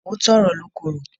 Òótọ́ ọ̀rọ̀ ló korò.